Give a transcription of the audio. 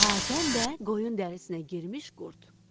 Hatəm və qoyun dərisinə girmiş qurd.